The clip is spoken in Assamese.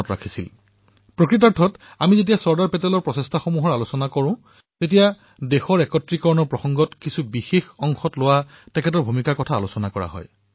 দৰাচলতে যেতিয়াই আমি চৰ্দাৰ পেটেলৰ প্ৰয়াসসমূহৰ বিষয়ে চৰ্চা কৰো তেতিয়া দেশৰ একত্ৰীকৰণত কিছুমান বিশেষ প্ৰান্তত তেওঁ গ্ৰহণ কৰা ভূমিকাৰ বিষয়েও চৰ্চা কৰা হয়